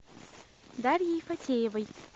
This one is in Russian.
дарьей фатеевой